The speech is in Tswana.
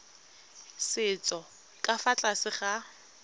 setso ka fa tlase ga